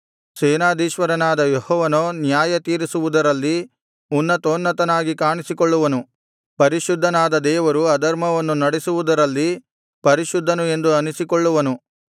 ಸೇನಾಧೀಶ್ವರನಾದ ಯೆಹೋವನೋ ನ್ಯಾಯತೀರಿಸುವುದರಲ್ಲಿ ಉನ್ನತೋನ್ನತನಾಗಿ ಕಾಣಿಸಿಕೊಳ್ಳುವನು ಪರಿಶುದ್ಧನಾದ ದೇವರು ಧರ್ಮವನ್ನು ನಡೆಸುವುದರಲ್ಲಿ ಪರಿಶುದ್ಧನು ಎಂದು ಅನಿಸಿಕೊಳ್ಳುವನು